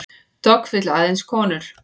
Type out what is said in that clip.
Dogg vill aðeins konur